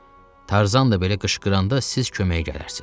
Tarzan da belə qışqıranda siz köməyə gələrsiz.